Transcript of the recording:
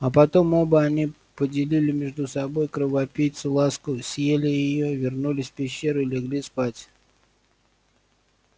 а потом оба они поделили между собой кровопийцу ласку съели её вернулись в пещеру и легли спать